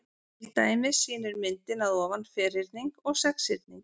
Til dæmis sýnir myndin að ofan ferhyrning og sexhyrning.